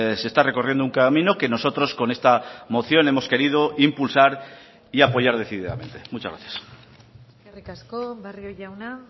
se está recorriendo un camino que nosotros con esta moción hemos querido impulsar y apoyar decididamente muchas gracias eskerrik asko barrio jauna